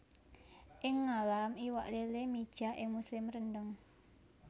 Ing ngalam iwak lélé mijah ing musim rendheng